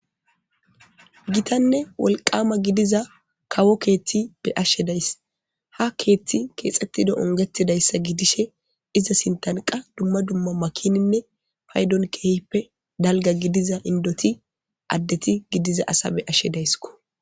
Gitanne wolqama gididiza kawo kethi be'ashe daysi ha keethi kexetidi ongetidaysa gidishe iza sinthan qasi dumma dumma makininne paydon qas keehippe dalga gidiza indoti adeti gidiza asa be'ashe daysko.